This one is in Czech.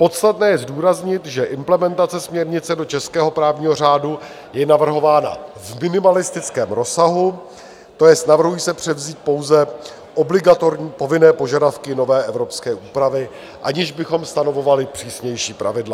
Podstatné je zdůraznit, že implementace směrnice do českého právního řádu je navrhována v minimalistickém rozsahu, to jest, navrhují se převzít pouze obligatorní povinné požadavky nové evropské úpravy, aniž bychom stanovovali přísnější pravidla.